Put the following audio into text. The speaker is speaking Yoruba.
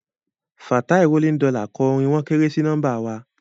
Fatai rolling dollars kọ orin "wọ́n kéré sí nọ́mbà wa"